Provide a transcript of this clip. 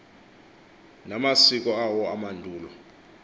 namasiko awo amandulo